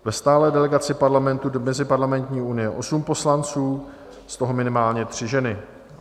- ve stálé delegaci Parlamentu do Meziparlamentní unie 8 poslanců, z toho minimálně 3 ženy,